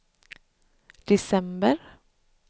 december